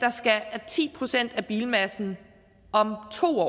at ti procent af bilmassen om to år